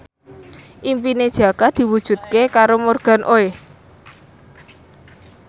impine Jaka diwujudke karo Morgan Oey